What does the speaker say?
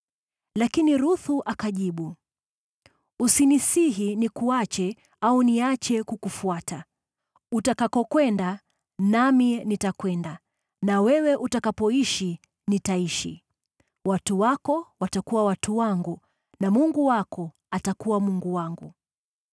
Lakini Ruthu akajibu, “Usinisihi nikuache au niache kukufuata. Utakakokwenda nami nitakwenda, na wewe utakapoishi nitaishi. Watu wako watakuwa watu wangu, na Mungu wako atakuwa Mungu wangu.